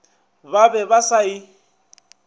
ba be ba sa e